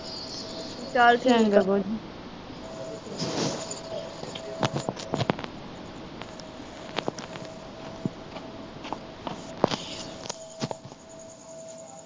ਚਲ ਚੰਗਾ ਬੂਆ ਜੀ